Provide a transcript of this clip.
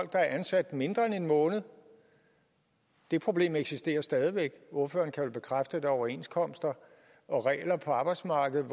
der er ansat mindre end en måned det problem eksisterer stadig væk ordføreren kan vel bekræfte at der er overenskomster og regler på arbejdsmarkedet